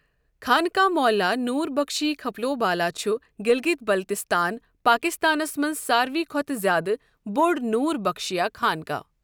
خانقاہ معلیٰ نوربخشی خپلو بالا چھُ گِلگِت بلتِستان، پاکِستانَس مَنٛز ساروٕے کھۄتہٕ زیٛادٕ بوٚڑ نوربخشیہٕ خانقاہ۔